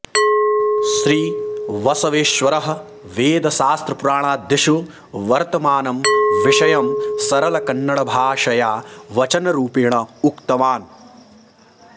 श्री बसवेश्वरः वेदशास्त्रपुराणादिषु वर्तमानं विषयं सरलकन्नडभाषया वचनरुपेण उक्तवान्